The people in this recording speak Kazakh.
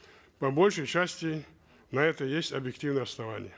по большей части на это есть объективные основания